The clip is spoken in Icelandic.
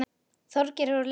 Þorgeir er úr leik.